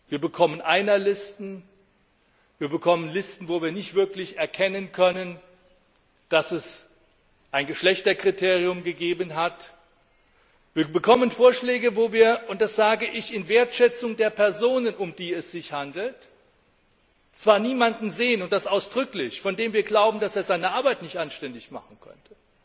Wir bekommen Einerlisten, wir bekommen Listen, bei denen wir nicht wirklich erkennen können, dass es ein Geschlechterkriterium gegeben hat, wir bekommen Vorschläge, bei denen wir und das sage ich in Wertschätzung der Personen, um die es sich handelt zwar niemanden sehen, von dem wir glauben, dass er seine Arbeit nicht anständig machen könnte.